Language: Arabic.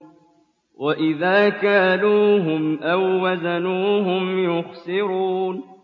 وَإِذَا كَالُوهُمْ أَو وَّزَنُوهُمْ يُخْسِرُونَ